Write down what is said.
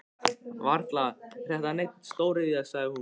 Varla er þetta nein stóriðja? sagði hún.